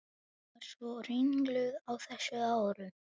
Var svo ringluð á þessum árum.